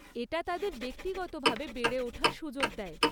এটা তাদের ব্যক্তিগতভাবে বেড়ে ওঠার সুযোগ দেয়।